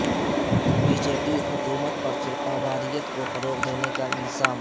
be J P حکومت پر فرقہ واریت کو فروغ دینے کا الزام